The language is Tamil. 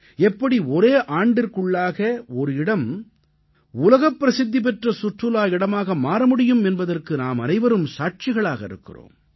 எப்படி ஒரே ஆண்டிற்குள்ளாக ஒரு இடம் உலகப் பிரசித்திபெற்ற சுற்றுலா இடமாக மாற முடியும் என்பதற்கு நாமனைவரும் சாட்சிகளாக இருக்கின்றோம்